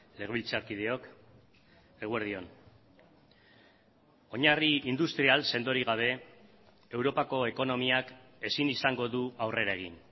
legebiltzarkideok eguerdion oinarri industrial sendorik gabe europako ekonomiak ezin izango du aurrera egin